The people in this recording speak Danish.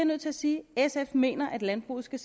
nødt til at sige at sf mener at landbruget skal